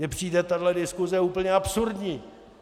Mně přijde tahle diskuse úplně absurdní.